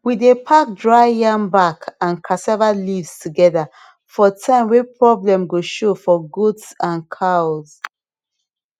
we dey pack dry yam back and cassava leaves together for time way problem go show for goats and cows